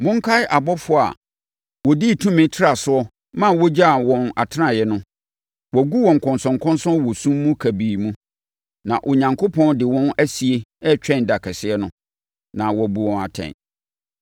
Monkae abɔfoɔ a wɔdii tumi trasoɔ ma wɔgyaa wɔn atenaeɛ no. Wɔagu wɔn nkɔnsɔnkɔnsɔn wɔ sum kabii mu, na Onyankopɔn de wɔn asie retwɛn ɛda kɛseɛ no, na wabu wɔn atɛn.